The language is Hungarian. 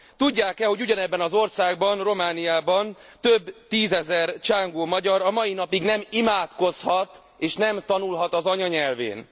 Tudják e, hogy ugyanebben az országban, Romániában, több tízezer csángó magyar a mai napig nem imádkozhat és nem tanulhat az anyanyelvén.